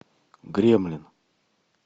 гремлин